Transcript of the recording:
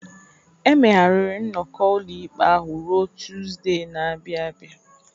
E megharịrị nnọkọ ụlọikpe ahụ ruo Tuzdee na-abịa abịa.